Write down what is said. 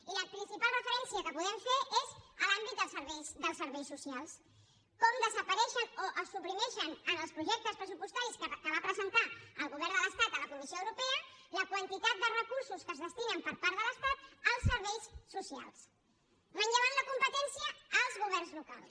i la principal referència que podem fer és a l’àmbit dels serveis socials com desapareixen o es suprimeixen en els projectes pressupostaris que va presentar el govern de l’estat a la comissió europea la quantitat de recursos que es destinen per part de l’estat als serveis socials manllevant la competència als governs locals